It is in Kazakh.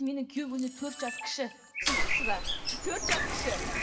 менің күйеуім менен төрт жас кіші түсініп тұрсыз ба төрт жас кіші